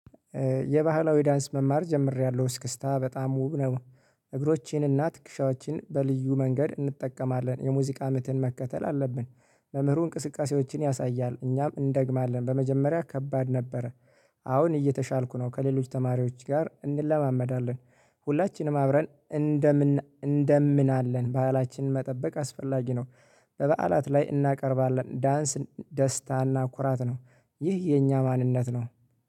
የባህላዊ ዳንስ መማር ጀምሬያለሁ እስክስታ በጣም ውብ ነው። እግሮቼን እና ትክክሻዎቼን በልዩ መንገድ እንጠቀማለን የሙዚቃ ምትን መከተል አለብን። መምህሩ እንቅስቃሴዎችን ያሳያል እኛም እንደግማለን በመጀመሪያ ከባድ ነበረ። አሁን እየተሻልኩ ነው ከሌሎች ተማሪዎች ጋር እንለማመዳለን። ሁላችንም አብረን እንደምን እንደምናለን ባሕላችንን መጠበቅ አስፈላጊ ነው። በበዓላት ላይ እናቀርባለን ዳንስ ደስታና ኩራት ነው። ይህ የኛ ማንነት ነው